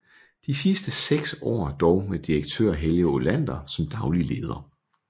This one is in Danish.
De sidste 6 år dog med Direktør Helge Olander som daglig leder